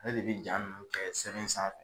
Ale de bi ja nunnu kɛ sɛbɛn sanfɛ